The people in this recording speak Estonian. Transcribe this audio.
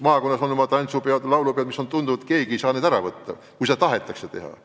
Maakonnas on oma tantsupeod ja laulupeod ning tundub, et keegi ei saa neid keelata, kui neid tahetakse teha.